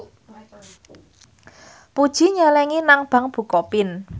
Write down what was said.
Puji nyelengi nang bank bukopin